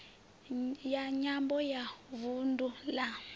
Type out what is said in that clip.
ya nyambo ya vundu la